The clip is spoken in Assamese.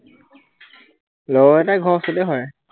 লগৰ কেইটাৰ ঘৰ ওচৰতে হয়।